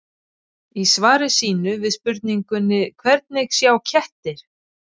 Í svari sínu við spurningunni Hvernig sjá kettir?